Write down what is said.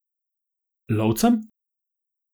Lovcem?